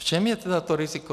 V čem je tedy to riziko?